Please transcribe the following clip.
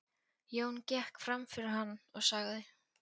Jón gekk fram fyrir hann og sagði